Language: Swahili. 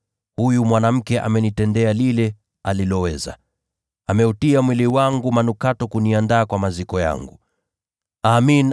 Huyu mwanamke amenitendea lile aliloweza. Ameumiminia mwili wangu manukato ili kuniandaa kwa maziko yangu.